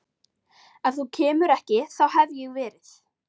Ef þú kemur ekki þá hef ég verið